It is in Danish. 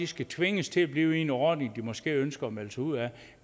skal tvinges til at blive i en ordning de måske ønsker at melde sig ud af